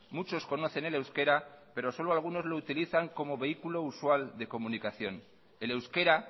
muchos conocen el euskera pero solo algunos lo usan como vehículo usual de comunicación el euskera